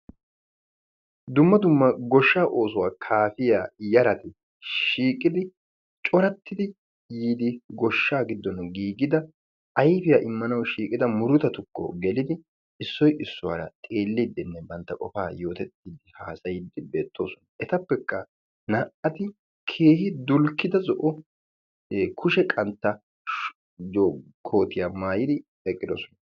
Dumma dumma goshshaa oosuwa kaafiya yarati shiiqidi corattidi yiidi goshshaa giddon giigida ayifiya immanawu shhiqida murutatukko gelidi issoy issuwaara xeellidi bantta qofaa yootettiiddinne haasayiiddi beettoosona. Etappekka naa"ati keehi dulkkida zo'o kushe qantta kootiya mayidi eqqidosona.